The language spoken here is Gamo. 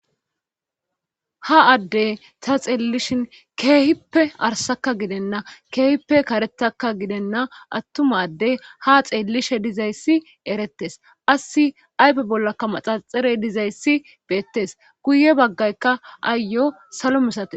Ha addey ta xeellishin keehippe arsakka gidenna keehippe karetakka gidenna attumaddey ha xeellishe dizayssi erettes assi aype bollakka maxaxare dizayssi beettes guye baggaykka aayo salo misate.